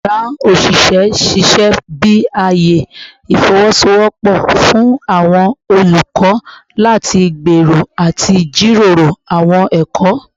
Yara osise n ṣiṣẹ bi aaye ifowosowopo fun awọn olukọ lati gbero ati jiroro awọn ẹkọ